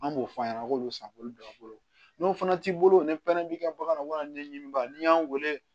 An b'o f'a ɲɛna k'olu san k'olu don a bolo n'o fana t'i bolo ni pɛrɛn b'i ka bagan na walima ɲɛɲini ba ni y'an weele